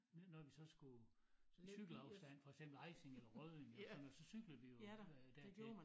Når vi så skulle til cykelafstand for eksempel Ejsing eller Rødding eller sådan noget så cyklede vi jo øh dertil